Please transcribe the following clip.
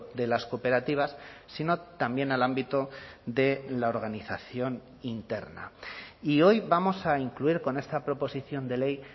de las cooperativas sino también al ámbito de la organización interna y hoy vamos a incluir con esta proposición de ley